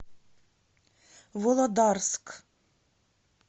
володарск